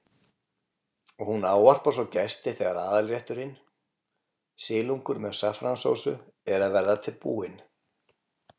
Hún ávarpar svo gesti þegar aðalrétturinn, silungur með saffransósu, er að verða búinn.